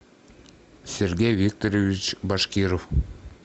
сергей викторович башкиров